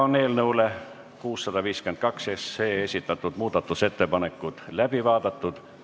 Eelnõu 652 kohta esitatud muudatusettepanekud on läbi vaadatud.